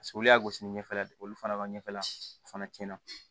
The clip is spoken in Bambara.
olu y'a gosi ɲɛfɛla la de olu fana b'a ɲɛfɛla fana tiɲɛna